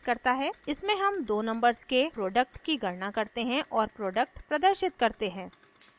इसमें हम दो numbers के product की गणना करते हैं और product प्रदर्शित करते हैं